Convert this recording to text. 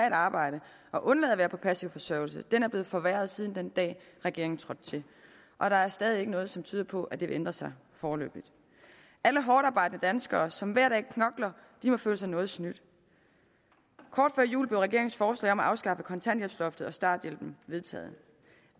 et arbejde og undlade at være på passiv forsørgelse er blevet forringet siden den dag regeringen trådte til og der er stadig væk ikke noget som tyder på at det vil ændre sig foreløbig alle hårdtarbejdende danskere som hver dag knokler må føle sig noget snydt kort før jul blev regeringens forslag om at afskaffe kontanthjælpsloftet og starthjælpen vedtaget